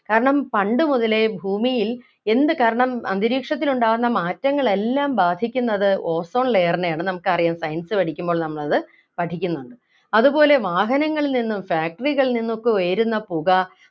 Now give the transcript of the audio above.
കാരണം പണ്ട് മുതലേ ഭൂമിയിൽ എന്ത് കാരണം അന്തരീക്ഷത്തിലുണ്ടാകുന്ന മാറ്റങ്ങളെല്ലാം ബാധിക്കുന്നത് ozone layer നെയാണ് നമുക്കറിയാം science പഠിക്കുമ്പോൾ നമ്മളത് പഠിക്കുന്നുണ്ട് അതുപോലെ വാഹനങ്ങളിൽ നിന്നും factory കളിൽ നിന്നും ഒക്കെ വരുന്ന പുക